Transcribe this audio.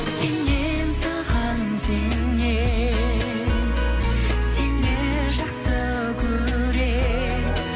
сенем саған сенем сені жақсы көрем